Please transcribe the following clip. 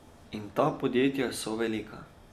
In ta podjetja so velika.